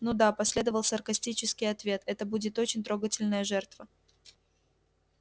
ну да последовал саркастический ответ это будет очень трогательная жертва